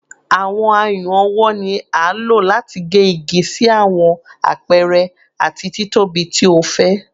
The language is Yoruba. Awọn ayùn ọwọ ni a lo lati ge igi si awọn apẹrẹ ati titobi ti o fẹ